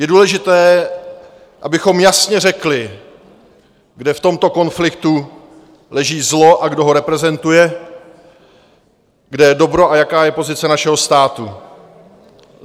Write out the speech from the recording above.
Je důležité, abychom jasně řekli, kde v tomto konfliktu leží zlo a kdo ho reprezentuje, kde je dobro a jaká je pozice našeho státu.